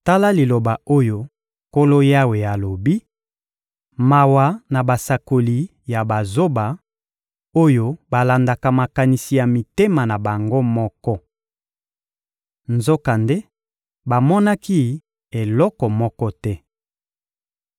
Tala liloba oyo Nkolo Yawe alobi: Mawa na basakoli ya bazoba, oyo balandaka makanisi ya mitema na bango moko! Nzokande bamonaki eloko moko te.